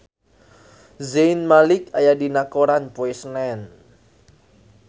Zayn Malik aya dina koran poe Senen